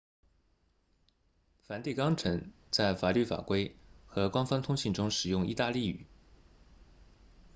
梵蒂冈城在法律法规和官方通信中使用意大利语